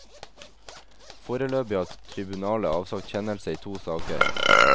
Foreløpig har tribunalet avsagt kjennelse i to saker.